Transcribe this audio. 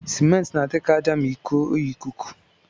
Cement na adi ka aja ma ikuọ ya ikuku.